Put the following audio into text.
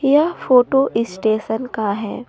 यह photo station का है।